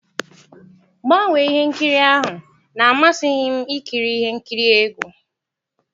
Gbanwee ihe nkiri ahụ na-amasịghị m ikiri ihe nkiri egwu.